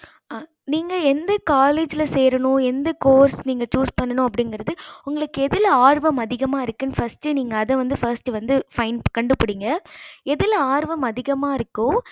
நீங்க எந்த college ல சேரனும் நீங்க எந்த course choose பண்ணும் அப்படிங்கறது உங்களுக்கு எதுல ஆர்வம் அதிகமா இருக்கு first நீங்க அத வந்து first find கண்டுபிடிங்க எதுல ஆர்வம் அதிகமா இருக்கோ